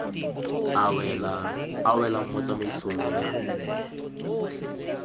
a welang mo tsamaisong ya